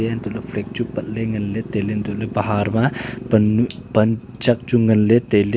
eantoh ley la fag chu pat ngan ley tai ley antoh baha ma pan nu pan chak chu ngan ley tai ley.